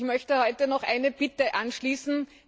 Ich möchte heute noch eine Bitte anschließen.